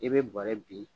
I bɛ bɔrɛ bin